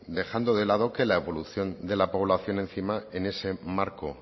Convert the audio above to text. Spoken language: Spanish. dejando de lado que la evolución de la población encima en este marco